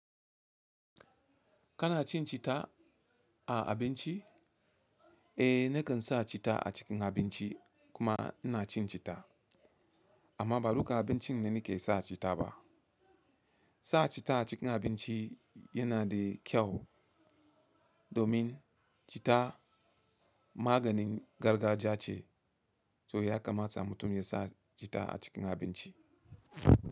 Kana cin cita a abinci? Eh nakan sa cita a cikin abinci kuma ina cin cita amma ba duka abincin ne nake sa cita ba. Sa cita a cikin abinci yana da kyau domin cita maganin gargajiya ce, so ya kamata mutum ya sa cita a cikin abinci.